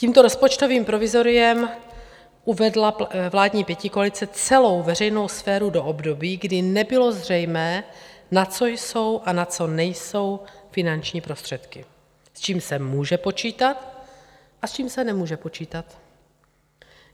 Tímto rozpočtovým provizoriem uvedla vládní pětikoalice celou veřejnou sféru do období, kdy nebylo zřejmé, na co jsou a na co nejsou finanční prostředky, s čím se může počítat a s čím se nemůže počítat.